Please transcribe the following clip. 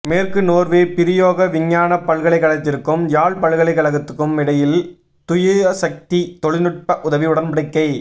மேற்கு நோர்வே பிரயோக விஞ்ஞான பல்கலைக்கழகத்திற்கும் யாழ் பல்கலைக்கழகத்துக்குமிடையில் தூயசக்தி தொழில்நுட்ப உதவி உடன்படிக்கை